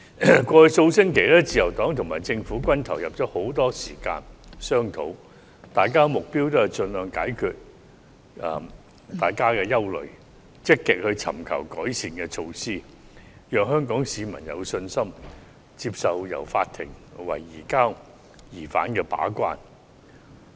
過去數星期，自由黨及政府均投入了很多時間進行商討，雙方的目標是盡量解決大家的憂慮，積極尋求改善的措施，讓香港市民有信心接受由法院為移交疑犯的安排把關。